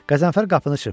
Qəzənfər qapını çırpdı.